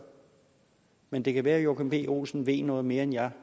men det kan være at joachim b olsen ved noget mere end jeg